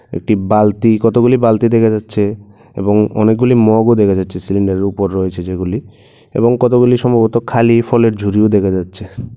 একটি বালতি কতগুলি বালতি দেখা যাচ্ছে এবং অনেকগুলি মগও দেখা যাচ্ছে সিলিন্ডারের উপরে রয়েছে যেগুলি এবং কতগুলি সম্ভবত খালি ফলের ঝুড়িও দেখা যাচ্ছে।